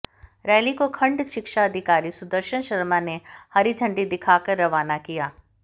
rally को खण्ड शिक्षा अधिकारी सुदर्शन शर्मा ने हरी झंडी दिखाकर रवाना किया